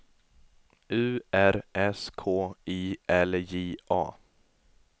U R S K I L J A